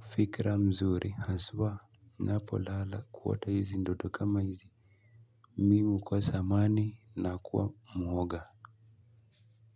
fikra mzuri haswa ninapo lala kuota hizi ndoto kama hizi. Mimi hukosa amani na kuwa mwoga.